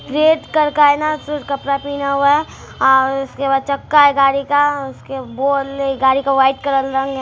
Red कर का हेना उसने कपडा पेहेना हुआ है और उसके बाद चक्का है गाड़ी का उसके ने गाड़ी का वाइट कलर का रंग है।